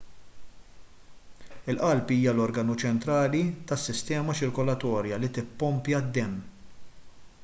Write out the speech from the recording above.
il-qalb hija l-organu ċentrali tas-sistema ċirkolatorja li tippompja d-demm